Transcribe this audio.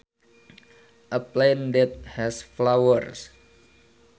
A plant that has flowers